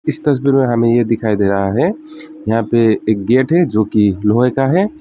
इस तस्वीर में हमें यह दिखाई दे रहा है यहां पर एक गेट है जोकि लोहे का है।